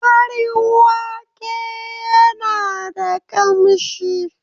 Farin wake yana da kamshi.